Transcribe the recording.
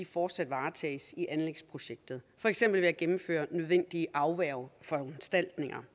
fortsat varetages i anlægsprojekter for eksempel ved at gennemføre nødvendige afværgeforanstaltninger